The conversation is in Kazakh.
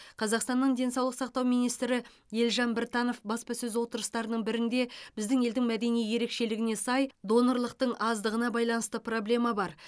қазақстанның денсаулық сақтау министрі елжан біртанов баспасөз отырыстарының бірінде біздің елдің мәдени ерекшелігіне сай донорлықтың аздығына байланысты проблема бар